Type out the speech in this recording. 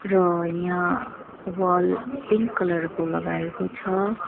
र यहाँ wall pink colour को लगाएको छ।